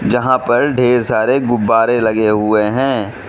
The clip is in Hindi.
जहां पर ढेर सारे गुब्बारे लगे हुए हैं।